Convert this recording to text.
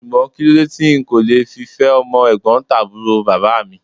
Ṣùgbọ́n kíló dé tí n kò le fi fẹ́ ọmọ ẹ̀gbọ́ntàbúrò bàbá mi?